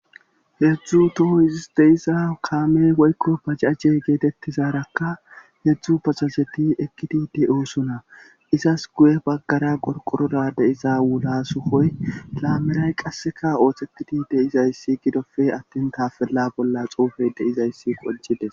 heedzdzu toho izisdeisa kaamey woykko bacajje geetettizaarakka hedzdzu basazeti ekkidide oosuna izas guye baggara qorqoroda de iza wula sukoy laameray qasseka ooththetidi de izayssi gidofe attin tafella bolla xuufey deizayssi qojide